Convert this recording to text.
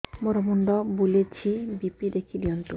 ମୋର ମୁଣ୍ଡ ବୁଲେଛି ବି.ପି ଦେଖି ଦିଅନ୍ତୁ